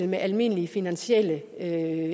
med almindelige finansielle